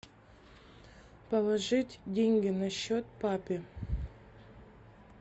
положить деньги на счет папе